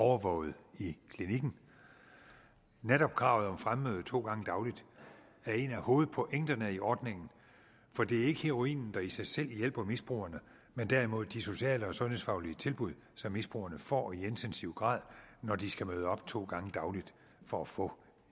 overvåget i klinikken netop kravet om fremmøde to gange dagligt er et af hovedpunkterne i ordningen for det er ikke heroinen der i sig selv hjælper misbrugerne men derimod de sociale og sundhedsfaglige tilbud som misbrugerne får i intensiv grad når de skal møde op to gange dagligt for at få